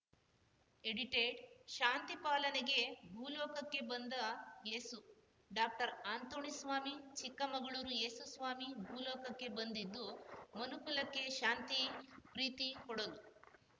edited ಶಾಂತಿ ಪಾಲನೆಗೆ ಭೂ ಲೋಕಕ್ಕೆ ಬಂದ ಏಸು ಡಾಕ್ಟರ್ಅಂತೋಣಿಸ್ವಾಮಿ ಚಿಕ್ಕಮಗಳೂರು ಏಸುಸ್ವಾಮಿ ಭೂ ಲೋಕಕ್ಕೆ ಬಂದಿದ್ದು ಮನುಕುಲಕ್ಕೆ ಶಾಂತಿ ಪ್ರೀತಿ ಕೊಡಲು